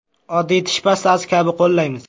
Oddiy tish pastasi kabi qo‘llaymiz.